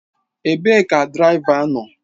Ebee ka diraịva nọ?